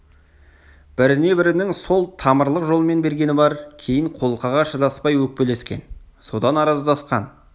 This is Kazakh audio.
біріне бірінің сол тамырлық жолмен бергені бар кейін қолқаға шыдаспай өкпелескен содан араздасқан